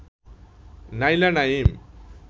Naila Naim